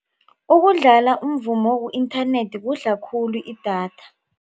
Ukudlala umvumo ku-internet kudla khulu idatha.